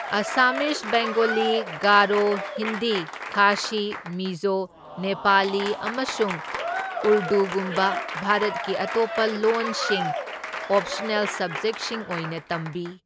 ꯑꯁꯥꯃꯤꯖ, ꯕꯦꯡꯒꯣꯂꯤ, ꯒꯥꯔꯣ, ꯍꯤꯟꯗꯤ, ꯈꯥꯁꯤ, ꯃꯤꯖꯣ, ꯅꯦꯄꯥꯂꯤ, ꯑꯃꯁꯨꯡ ꯎꯔꯗꯨꯒꯨꯝꯕ ꯚꯥꯔꯠꯀꯤ ꯑꯇꯣꯞꯄ ꯂꯣꯟꯁꯤꯡ ꯑꯣꯞꯁꯅꯦꯜ ꯁꯕꯖꯦꯛꯠꯁꯤꯡ ꯑꯣꯏꯅ ꯇꯝꯕꯤ꯫